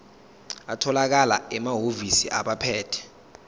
atholakala emahhovisi abaphethe